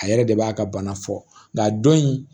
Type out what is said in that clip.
A yɛrɛ de b'a ka bana fɔ nka don in